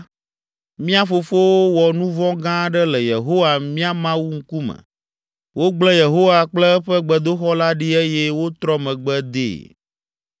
Mía fofowo wɔ nu vɔ̃ gã aɖe le Yehowa, mía Mawu, ŋkume. Wogble Yehowa kple eƒe gbedoxɔ la ɖi eye wotrɔ megbe dee.